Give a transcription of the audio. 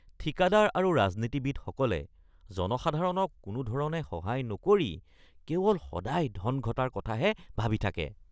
ঠিকাদাৰ আৰু ৰাজনীতিবিদসকলে জনসাধাৰণক কোনোধৰণে সহায় নকৰি কেৱল সদায় ধন ঘটাৰ কথাহে ভাবি থাকে